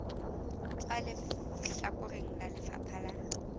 tswa lehlakoreng la lefapha la